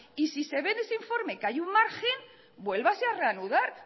y si se ve en ese informe que hay un margen vuélvase a reanudar